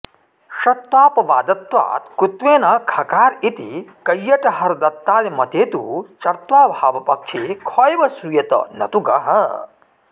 षत्वापवादत्वात्कुत्वेन खकार इति कैयटहरदत्तादिमते तु चर्त्वाभावपक्षे ख एव श्रूयेत नतु गः